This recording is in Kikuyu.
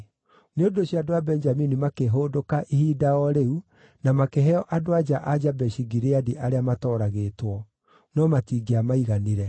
Nĩ ũndũ ũcio andũ a Benjamini makĩhũndũka ihinda o rĩu na makĩheo andũ-a-nja a Jabeshi-Gileadi arĩa matooragĩtwo. No matingĩamaiganire.